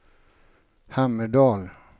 Hammerdal